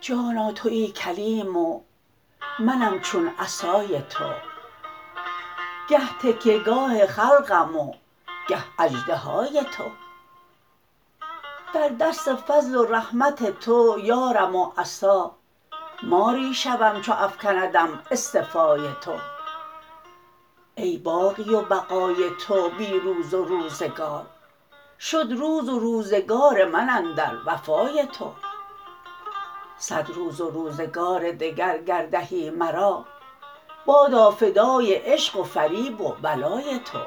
جانا توی کلیم و منم چون عصای تو گه تکیه گاه خلقم و گه اژدهای تو در دست فضل و رحمت تو یارم و عصا ماری شوم چو افکندم اصطفای تو ای باقی و بقای تو بی روز و روزگار شد روز و روزگار من اندر وفای تو صد روز و روزگار دگر گر دهی مرا بادا فدای عشق و فریب و ولای تو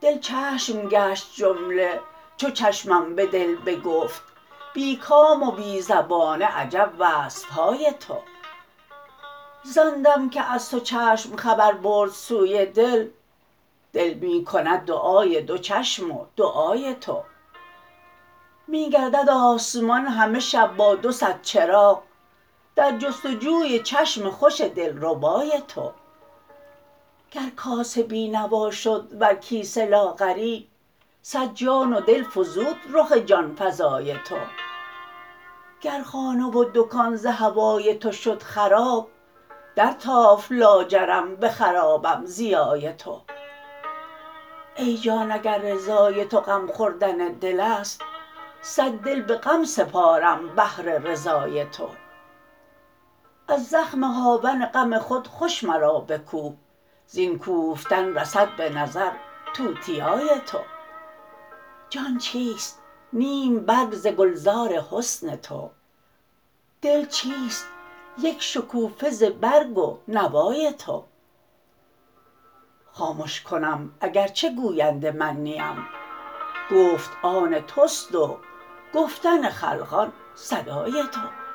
دل چشم گشت جمله چو چشمم به دل بگفت بی کام و بی زبان عجب وصف های تو زان دم که از تو چشم خبر برد سوی دل دل می کند دعای دو چشم و دعای تو می گردد آسمان همه شب با دو صد چراغ در جست و جوی چشم خوش دلربای تو گر کاسه بی نوا شد ور کیسه لاغری صد جان و دل فزود رخ جان فزای تو گر خانه و دکان ز هوای تو شد خراب درتافت لاجرم به خرابم ضیای تو ای جان اگر رضای تو غم خوردن دل است صد دل به غم سپارم بهر رضای تو از زخم هاون غم خود خوش مرا بکوب زین کوفتن رسد به نظر توتیای تو جان چیست نیم برگ ز گلزار حسن تو دل چیست یک شکوفه ز برگ و نوای تو خامش کنم اگر چه که گوینده من نیم گفت آن توست و گفتن خلقان صدای تو